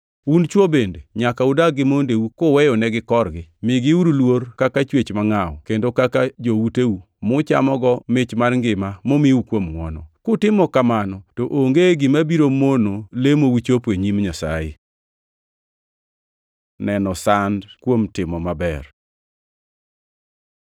Un chwo bende nyaka udag gi mondeu kuweyonegi korgi. Migiuru luor kaka chwech mangʼaw kendo kaka jouteu muchamogo mich mar ngima momiu kuom ngʼwono. Kutimo kamano to onge gima biro mono lemou chopo e nyim Nyasaye. Neno sand kuom timo maber